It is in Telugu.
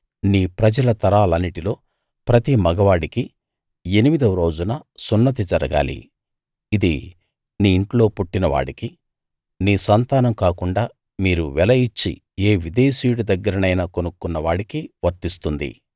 నీ ప్రజల తరాలన్నిటిలో ప్రతి మగవాడికీ ఎనిమిది రోజున సున్నతి జరగాలి ఇది నీ ఇంట్లో పుట్టిన వాడికీ నీ సంతానం కాకుండా మీరు వెల ఇచ్చి ఏ విదేశీయుడి దగ్గరైనా కొనుక్కున్న వాడికీ వర్తిస్తుంది